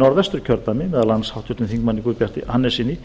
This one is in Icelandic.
norðvesturkjördæmi meðal annars háttvirtur þingmaður guðbjarti hannessyni